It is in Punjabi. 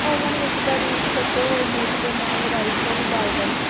ਓਵਨ ਵਿੱਚ ਬਾਰੀਕ ਕੱਟੇ ਹੋਏ ਮੀਟ ਦੇ ਨਾਲ ਰਾਈਫਲ ਬਾਏਲਲ